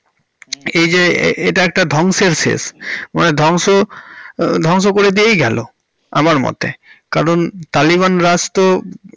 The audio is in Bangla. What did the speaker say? হুম এই যে এটা একটা ধ্বংসের শেষ। মানে ধ্বংস~ ধ্বংস করে দিয়েই গেলো আমার মতে কারণ তালিবান রাজ্ তো।